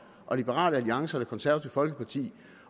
og liberal alliance og det konservative folkeparti